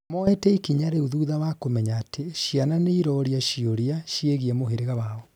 moete ikianya rĩu thutha wa kũmenya atĩ ciana nĩiroria ciũria ciĩgie mũhirĩga wao